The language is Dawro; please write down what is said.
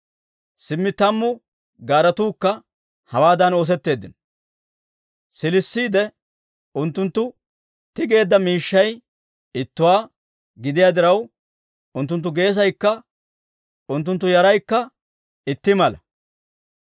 Simmi tammu gaaretuukka hawaadan oosetteeddino; siilisiide unttunttu tigeedda miishshay ittuwaa gidiyaa diraw, unttunttu geesaykka unttunttu yaraykka itti mala.